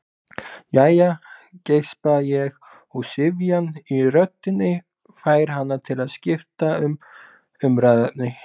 Jæja, geispa ég og syfjan í röddinni fær hana til að skipta um umræðuefni.